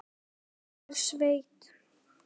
Hún er sveitt.